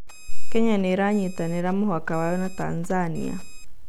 Kenya nĩ ĩranyitanira mũhaka wayo na Tanzania